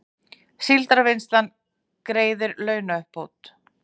Síldarvinnslan greiðir launauppbót